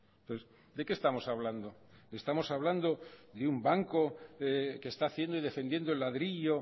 entonces de qué estamos hablando estamos hablando de un banco que está haciendo y defendiendo el ladrillo